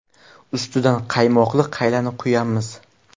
Ustidan qaymoqli qaylani quyamiz.